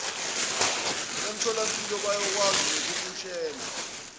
emtholampilo bayakwazi nokukutshela